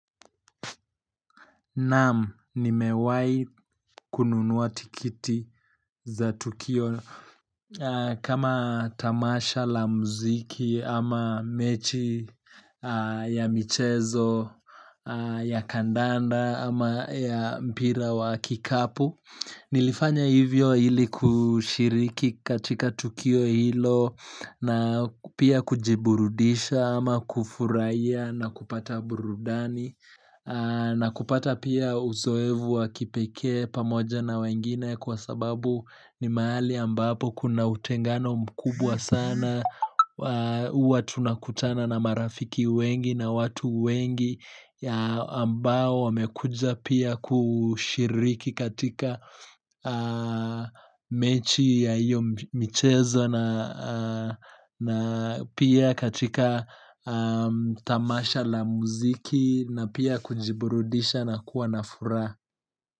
Nam, nimewai kununua tikiti za tukio kama tamasha la mziki ama mechi ya michezo ya kandanda ama ya mpira wa kikapu. Nilifanya hivyo ili kushiriki katika tukio hilo na pia kujiburudisha ama kufurahia na kupata burudani na kupata pia uzoefu wa kipekee pamoja na wengine kwa sababu ni mahali ambapo kuna utengano mkubwa sana huwa tunakutana na marafiki wengi na watu wengi ambao wamekuja pia kushiriki katika mechi ya hiyo mchezo na pia katika tamasha la muziki na pia kujiburudisha nakuwa na furaha.